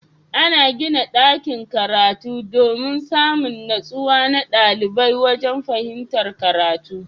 Ana gina dakin karatu domin Samin nutsuwa na ɗalibai wajan fahimtar karatu